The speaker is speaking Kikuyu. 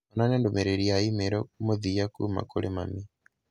onania ndũmĩrĩri ya i-mīrū mũthia kuuma kũrĩ mami